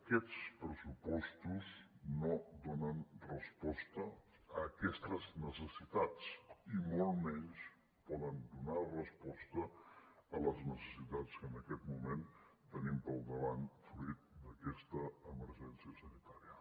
aquests pressupostos no donen resposta a aquestes necessitats i molt menys poden donar resposta a les necessitats que en aquest moment tenim al davant fruit d’aquesta emergència sanitària